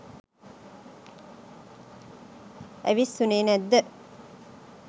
ඇවිස්සුනේ නැද්ද?